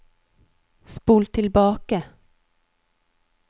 spol tilbake